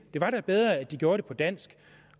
var da bedre at de gjorde det på dansk